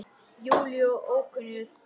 Júlíu og ókunnu pari.